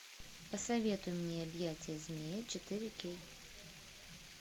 посоветуй мне объятия змея четыре кей